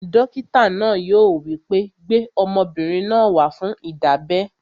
Dókítà náà yóò wí pé, "gbé ọmọbìnrin náà wá fún ìdábẹ́!"